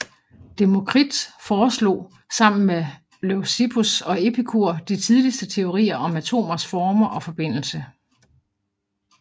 Demokrit foreslog sammen med Leucippus og Epikur de tidligste teorier om atomers former og forbindelse